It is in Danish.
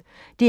DR P1